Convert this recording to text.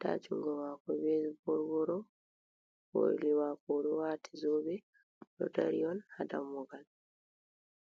haa junngo maako ɓe boo woro-woroo, hoondu maako boo o ɗo waati zoobe, o ɗo dari on haa dammugal.